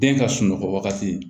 Den ka sunɔgɔ wagati